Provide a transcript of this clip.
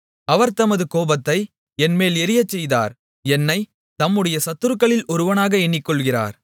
அவர் தமது கோபத்தை என்மேல் எரியச் செய்தார் என்னைத் தம்முடைய சத்துருக்களில் ஒருவனாக எண்ணிக்கொள்ளுகிறார்